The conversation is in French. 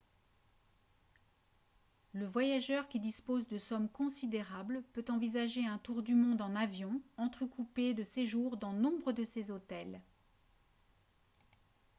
le voyageur qui dispose de sommes considérables peut envisager un tour du monde en avion entrecoupé de séjours dans nombre de ces hôtels